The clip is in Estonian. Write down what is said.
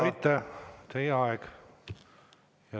Aitäh!